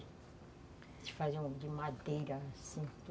Eles faziam de madeira, assim, tudo.